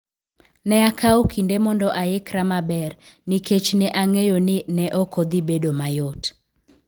Ne akawo kinde mondo aikra maber nikech ne ang'eyo ni ne ok dhi bedo mayot.